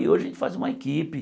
E hoje a gente faz uma equipe.